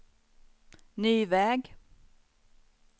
ny väg